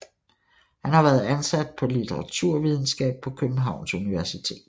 Han har været ansat på litteraturvidenskab på Københavns Universitet